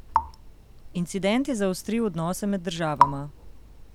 Incident je zaostril odnose med državama.